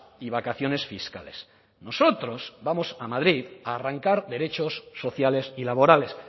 y vacaciones fiscales nosotros vamos a madrid a arrancar derechos sociales y laborales